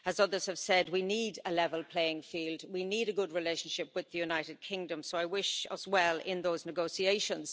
As others have said, we need a level playing field, we need a good relationship with the United Kingdom, so I wish us well in those negotiations.